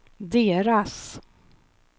deras